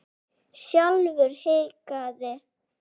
Sjálfur hikaði